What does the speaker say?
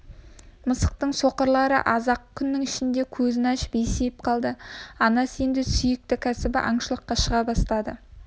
мысықтың соқырлары аз-ақ күннің ішінде көзін ашып есейіп қалды анасы енді сүйікті кәсібі аңшылыққа шыға бастады